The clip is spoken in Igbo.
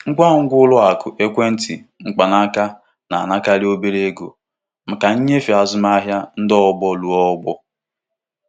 Ọrụ ndị na-ahụ maka mbufe ego na mba ofesi na-amanyekarị ụgwọ SMS dị iche iche maka azụmahịa ọ bụla.